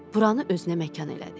Buranı özünə məkan elədi.